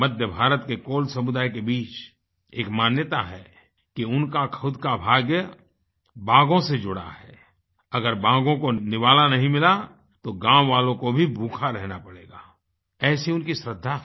मध्य भारत के कोल समुदाय के बीच एक मान्यता है कि उनका खुद का भाग्य बाघों से जुड़ा है अगर बाघों को निवाला नहीं मिला तो गाँव वालों को भी भूखा रहना पड़ेगा ऐसी उनकी श्रद्धा है